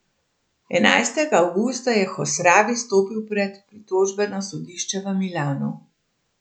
Enajstega avgusta je Hosravi stopil pred pritožbeno sodišče v Milanu.